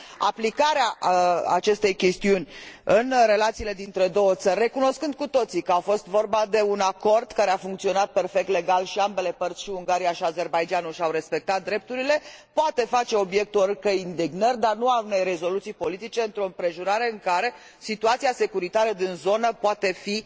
Aplicarea acestei chestiuni în relațiile dintre două țări recunoscând cu toții că a fost vorba de un acord care a funcționat perfect legal și ambele părți, atât Ungaria, cât și Azerbaidjanul și au respectat drepturile poate face obiectul unei indignări, dar nu al unei rezoluții politice, într o împrejurare în care situația securitară din zonă poate fi